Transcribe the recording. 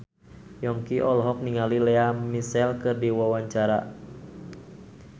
Yongki olohok ningali Lea Michele keur diwawancara